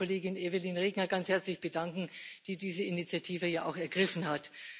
Ich möchte mich bei Kollegin Evelyn Regner ganz herzlich bedanken, die diese Initiative ja auch ergriffen hat.